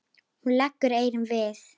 Hún leggur eyrun við.